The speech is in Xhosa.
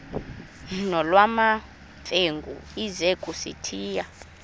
nolwamamfengu ize kusitiya